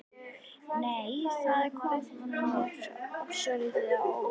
Nei! Það kom mér svolítið á óvart!